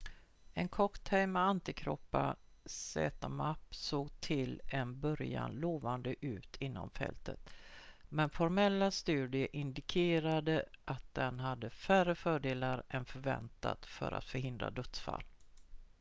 en cocktail med antikroppar zmapp såg till en början lovande ut inom fältet men formella studier indikerade att den hade färre fördelar än förväntat för att förhindra dödsfall